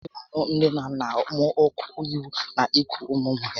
Ọ nà aṅụ nné na nnà m ọkụ ịhụ na iku ụmụ ụmụ ha